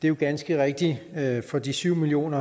er ganske rigtigt at for de syv million